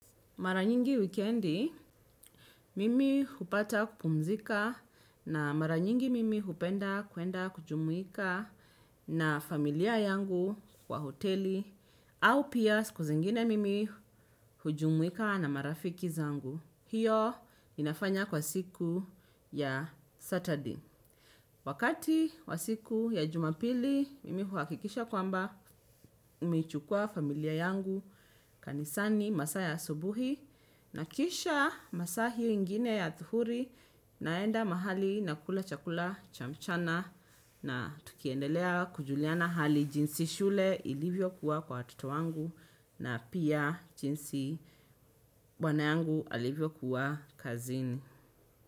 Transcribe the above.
Mara nyingi wikendi, mimi hupata kupumzika na mara nyingi mimi hupenda kuenda kujumuika na familia yangu kwa hoteli au pia siku zengine mimi hujumuika na marafiki zangu. Hiyo inafanya kwa siku ya Saturday. Wakati wa siku ya jumapili, mimi huakikisha kwamba nimeichukua familia yangu kanisani masaa ya asubuhi. Na kisha masaa hiyo ingine ya adhuhuri naenda mahali nakula chakula cha mchana na tukiendelea kujuliana hali jinsi shule ilivyokuwa kwa watoto wangu na pia jinsi bwana yangu alivyokuwa kazini.